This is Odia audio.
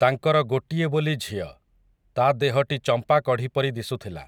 ତାଙ୍କର ଗୋଟିଏ ବୋଲି ଝିଅ, ତା' ଦେହଟି ଚମ୍ପାକଢ଼ି ପରି ଦିଶୁଥିଲା ।